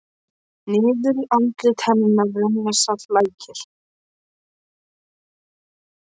Niður andlit hennar renna saltir lækir.